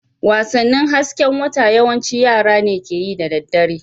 Wasannin hasken wata yawanci yara ne ke yi da dare.